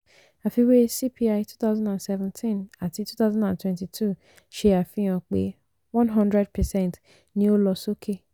àfiwé cpi twenty seventeen àti two thousand and twenty two ṣe àfihàn pé hundred percent ni ó lọ sókè.